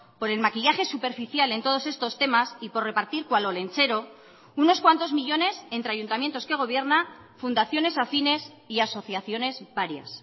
por el maquillaje superficial en todos estos temas y por repartir cual olentzero unos cuantos millónes entre ayuntamientos que gobierna fundaciones afines y asociaciones varias